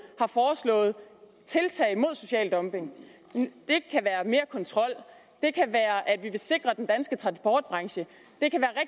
har forslået tiltag mod social dumping det kan være mere kontrol det kan være at vi vil sikre den danske transportbranche